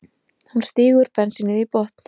Hún stígur bensínið í botn.